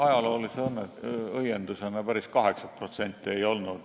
Ajaloolise õiendusena ütlen, et päris 8% ei olnud.